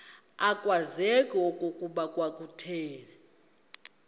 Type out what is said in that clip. akwazeki okokuba kwakuthe